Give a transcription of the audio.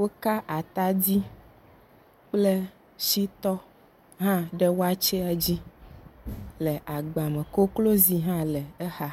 Woka atadi kple shitɔ hã ɖe wakyea dzi le agba me koklozi hã le exa.